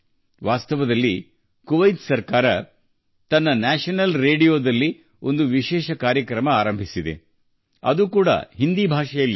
ವಾಸ್ತವವಾಗಿ ಕುವೈತ್ ಸರ್ಕಾರವು ತನ್ನ ರಾಷ್ಟ್ರೀಯ ರೇಡಿಯೊದಲ್ಲಿ ವಿಶೇಷ ಕಾರ್ಯಕ್ರಮ ಪ್ರಾರಂಭಿಸಿದೆ ಅದೂ ಹಿಂದಿಯಲ್ಲಿ